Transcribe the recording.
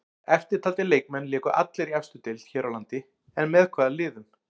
Eftirtaldir leikmenn léku allir í efstu deild hér á landi en með hvaða liðum?